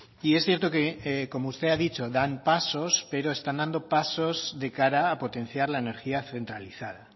y es cierto que como usted ha dicho dan pasos pero están dando pasos de cara a potenciar la energía centralizada